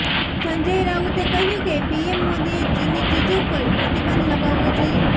સંજય રાઉતે કહ્યું કે પીએમ મોદીએ ચીની ચીજો પર પ્રતિબંધ લગાવવો જોઇએ